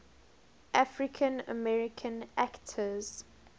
african american actors